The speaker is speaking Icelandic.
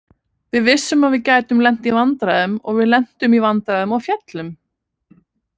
Við vissum að við gætum lent í vandræðum og við lentum í vandræðum og féllum.